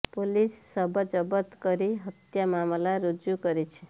police ଶବ ଜବତ କରି ହତ୍ୟା ମାମଲା ରୁଜୁ କରିଛି